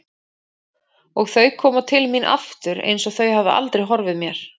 Og þau koma til mín aftur einsog þau hafi aldrei horfið mér.